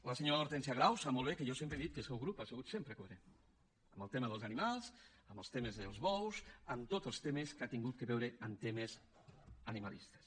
la senyora hortènsia grau sap molt bé que jo sempre he dit que el seu grup ha sigut sempre coherent en el tema dels animals en els temes dels bous en tots els temes que han tingut a veure amb temes animalistes